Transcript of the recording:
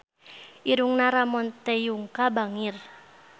Irungna Ramon T. Yungka bangir